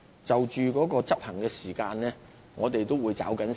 主席，關於執行時間，我們必定會抓緊。